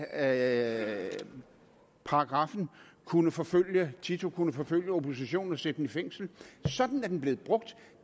af paragraffen kunne forfølge tito kunne forfølge oppositionen og sætte den i fængsel sådan er den blevet brugt